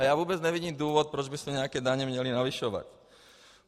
A já vůbec nevidím důvod, proč bychom nějaké daně měli navyšovat.